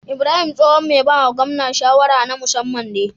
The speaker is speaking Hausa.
Ibrahim tsohon me bawa gwamna shawara na musaman ne